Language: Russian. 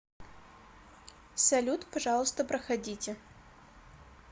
салют пожалуйста проходите